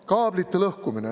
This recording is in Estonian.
Kaablite lõhkumine.